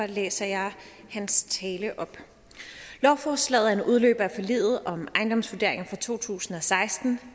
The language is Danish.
læser jeg hans tale op lovforslaget er en udløber af forliget om ejendomsvurderinger fra to tusind og seksten